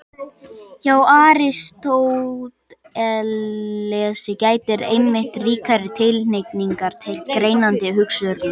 Hjá Aristótelesi gætir einmitt ríkrar tilhneigingar til greinandi hugsunar.